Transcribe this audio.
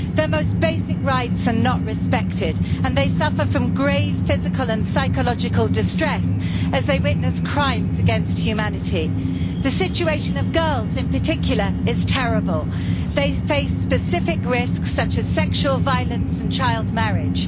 Their most basic rights are not respected and they suffer grave physical and psychological distress, as they have witnessed crimes against humanity. The situation of girls, in particular, is terrible they face specific risks such as sexual violence and child marriage.